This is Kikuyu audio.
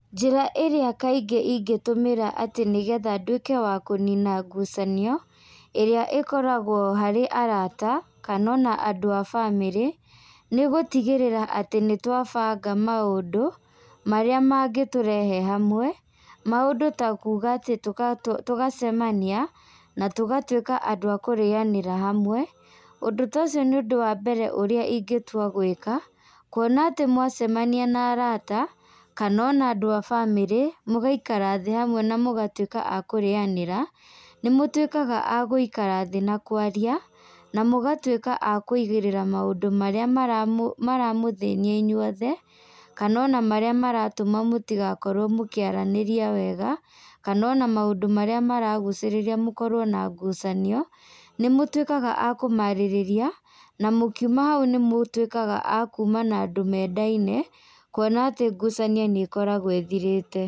Njĩra ĩrĩa kaingĩ ingĩtũmĩra atĩ nĩgetha nduĩke wa kũnina ngucanio, ĩrĩa ĩkoragwo harĩ arata, kana ona andũ a bamĩrĩ, nĩ gũtigĩrĩra atĩ nĩtwa banga maũndũ, marĩa mangĩtũrehe hamwe, maũndũ ta kuga atĩ tũga tũgacemania, na tũgatuĩka andũ a kũrĩanĩra hamwe, ũndũ ta ũcio nĩ ũndũ wa mbere ũrĩa ingĩtua gwĩka, kuona atĩ mwacemania na arata, kana ona andũ a bamĩrĩ, mũgaikara thĩ hamwe na mũgatuĩka a kũrĩanĩra, nĩmũtuĩkaga a gũikara thĩ na kwaria, na mũgatuĩka a kũigĩrĩra maũndũ marĩa maramũ maramũthĩnia inyuothe, kana ona marĩa maratuma mũtigakorwo mũkĩaranĩria wega, kana ona maũndũ marĩa maragucĩrĩria mũkorwo na ngucanio, nĩmũtuĩkaga a kũmarĩrĩria, na mũkiuma hau nĩmũtuĩkaga a kuma na andũ mendaine, kuona atĩ ngucanio nĩkoragwo ĩthirĩte.